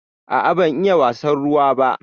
A'a ban iya wasan ruwa ba.